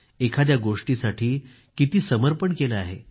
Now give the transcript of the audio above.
एखाद्या गोष्टीसाठी किती समर्पण केलं आहे